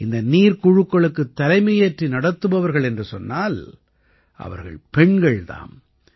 இந்த நீர்க் குழுக்களுக்குத் தலைமையேற்று நடத்துபவர்கள் என்று சொன்னால் அவர்கள் பெண்கள் தாம்